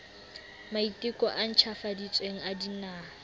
maiteko a ntjhafaditsweng a dinaha